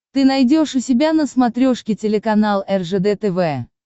ты найдешь у себя на смотрешке телеканал ржд тв